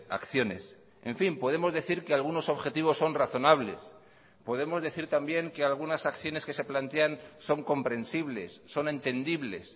acciones en fin podemos decir que algunos objetivos son razonables podemos decir también que algunas acciones que se plantean son comprensibles son entendibles